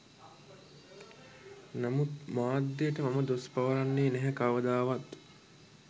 නමුත් මාධ්‍යට මං දොස් පවරන්නේ නැහැ කවදාවත්.